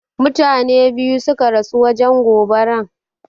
Mutane ɓiyu suƙa rasu wajen goɓaran.